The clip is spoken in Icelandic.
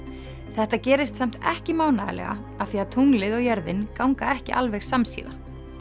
þetta gerist samt ekki mánaðarlega af því að tunglið og jörðin ganga ekki alveg samsíða